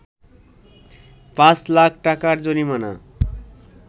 ৫ লাখ টাকার জরিমানা